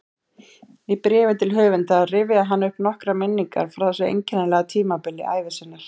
Í bréfi til höfundar rifjaði hann upp nokkrar minningar frá þessu einkennilega tímabili ævi sinnar